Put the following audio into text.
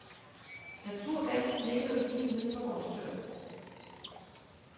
Naturgassen ligger jo lige uden for vores dør.